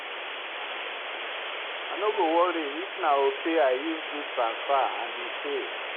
I no go worry if na Opay I use do transfer and e fail.